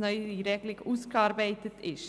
neue Regelung ausgearbeitet ist.